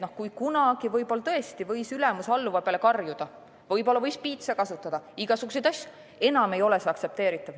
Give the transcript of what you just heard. Kui kunagi võib-olla tõesti võis ülemus alluva peale karjuda, võib-olla võis piitsa kasutada, igasuguseid asju, aga enam ei ole see aktsepteeritav.